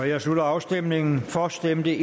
jeg slutter afstemningen for stemte